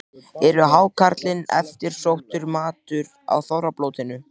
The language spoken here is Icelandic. Er hákarlinn eftirsóttur matur á þorrablótum?